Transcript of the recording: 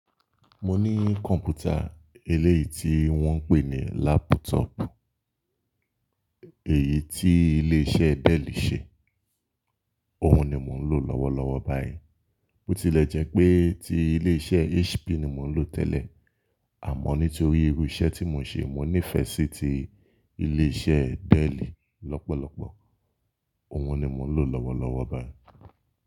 Mo ní kọ̀npútà eléyìí tí wọ́n ń pè ní lápútọ̀ọ̀pù, èyí tí ilé iṣẹ́ Dell ṣe. Òun ni mò ń lò lọ́wọ́lọ́wọ́ báyìí. Bó tilẹ̀ jẹ́ pé ti ilé iṣẹ́ HP ni mò ń lò tẹ́lẹ̀, àmọ́ nítorí irú iṣẹ́ tí mò ń ṣe, mo nífẹsí ti ilé iṣẹ́ Dell lọ́pọ̀lọpọ̀. Òun ni mò ń lò lọ́wọ́lọ́wọ́ báyìí.